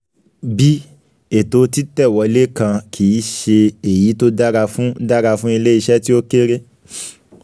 b) ètò títẹ̀ wọlé kan kì í ṣe èyí tó dára fún dára fún ilé-iṣẹ́ tí ó kéré.